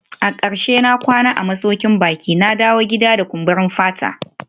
A karshe na kwana a masaukin baki, na dawo gida da kumburin fata